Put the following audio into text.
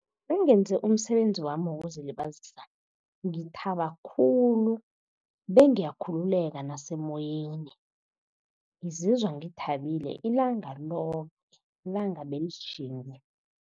Nengenze umsebenzi wami wokuzilibazisa ngithaba khulu, bengiyakhululeka nasemoyeni. Ngizizwa ngithabile ilanga loke, ilanga belitjhinge.